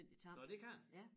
Nåh det kan man?